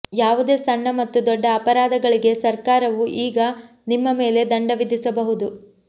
ಯಾವುದೇ ಸಣ್ಣ ಮತ್ತು ದೊಡ್ಡ ಅಪರಾಧಗಳಿಗೆ ಸರ್ಕಾರವು ಈಗ ನಿಮ್ಮ ಮೇಲೆ ದಂಡ ವಿಧಿಸಬಹುದು